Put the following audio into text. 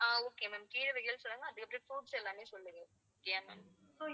ஆஹ் okay ma'am கீரைகள் சொல்லுங்க அதுக்கப்பறம் fruits எல்லாமே சொல்லுங்க. okay yeah ma'am